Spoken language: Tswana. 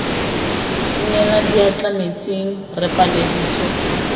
inela diatla metsing re pateleditswe